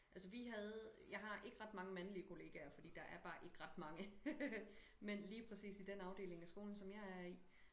Altså vi havde jeg har ikke ret mange mandlige kollegaer fordi der er bare ikke ret mange mænd lige præcis i den afdeling af skolen som jeg er i